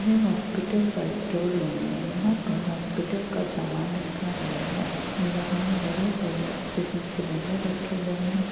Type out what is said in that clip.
यह हॉस्पिटल का store room है। यहां पर हॉस्पिटल का सामान रखा गया हैं। यहां बड़े-बड़े ऑक्सीजन सिलिन्डर रखे गए हैं।